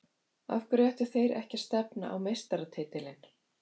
Af hverju ættu þeir ekki að stefna á meistaratitilinn?